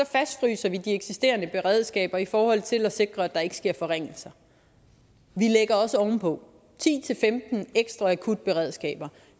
fastfryser vi de eksisterende beredskaber i forhold til at sikre at der ikke sker forringelser vi lægger også ovenpå ti til femten ekstra akutberedskaber